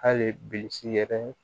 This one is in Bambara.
Hali bilisi yɛrɛ